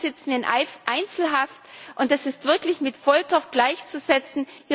Die beiden sitzen in Einzelhaft, und das ist wirklich mit Folter gleichzusetzen.